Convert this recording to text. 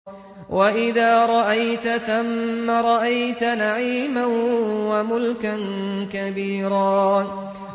وَإِذَا رَأَيْتَ ثَمَّ رَأَيْتَ نَعِيمًا وَمُلْكًا كَبِيرًا